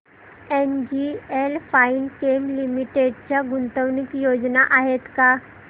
NGL Finechem limited च्या गुंतवणूक योजना आहेत का